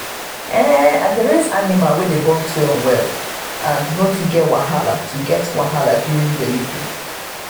i dey raise animal wey dey born twin well and no too get wahala too get wahala during delivery.